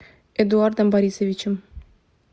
эдуардом борисовичем